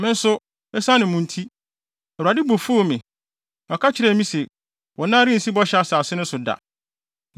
Me nso, esiane mo nti, Awurade bo fuw me. Ɔka kyerɛɛ me se, “Wo nan rensi Bɔhyɛ Asase no so da.